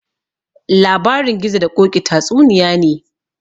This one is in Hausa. Labarin gizo da koƙi tatsuniya ne